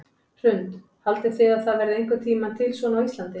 Hrund: Haldið þið að það verði einhvern tímann til svona á Íslandi?